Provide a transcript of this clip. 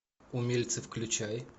умельцы включай